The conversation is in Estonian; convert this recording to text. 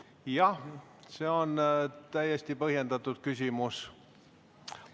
Jah, see on täiesti põhjendatud küsimus.